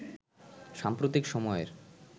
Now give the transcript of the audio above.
সাম্প্রতিক সময়ের